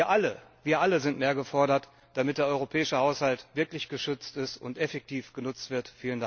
Wir alle sind mehr gefordert, damit der europäische Haushalt wirklich geschützt ist und effektiv genutzt wird.